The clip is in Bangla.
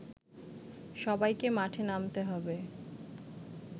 সবাইকে মাঠে নামতে হবে